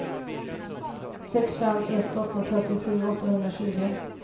sex fem ett åtta trettiosju åttahundratjugo